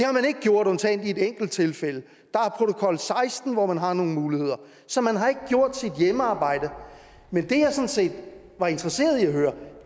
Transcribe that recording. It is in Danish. har man ikke gjort undtagen i et enkelt tilfælde der er protokol seksten hvor man har nogle muligheder så man har ikke gjort sit hjemmearbejde men det jeg sådan set er interesseret i at høre